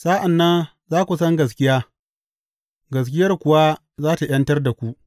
Sa’an nan za ku san gaskiya, gaskiyar kuwa za tă ’yantar da ku.